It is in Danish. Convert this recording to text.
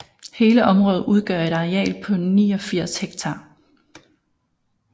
Hele området udgør et areal på 89 ha